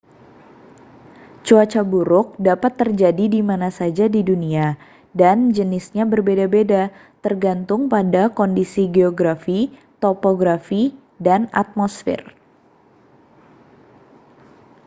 cuaca buruk dapat terjadi di mana saja di dunia dan jenisnya berbeda-beda tergantung pada kondisi geografi topografi dan atmosfer